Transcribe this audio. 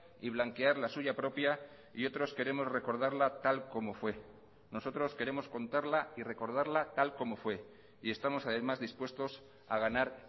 y blanquear la suya propia y otros queremos recordarla tal como fue nosotros queremos contarla y recordarla tal como fue y estamos además dispuestos a ganar